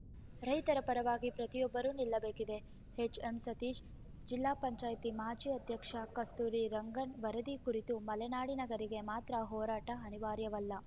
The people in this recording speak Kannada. ರೈತರ ಪರವಾಗಿ ಪ್ರತಿಯೊಬ್ಬರೂ ನಿಲ್ಲಬೇಕಿದೆ ಎಚ್‌ಎಂಸತೀಶ್‌ ಜಿಲ್ಲಾ ಪಂಚಾಯತಿ ಮಾಜಿ ಅಧ್ಯಕ್ಷ ಕಸ್ತೂರಿ ರಂಗನ್‌ ವರದಿ ಕುರಿತು ಮಲೆನಾಡಿಗರಿಗೆ ಮಾತ್ರ ಹೋರಾಟ ಅನಿವಾರ್ಯವಲ್ಲ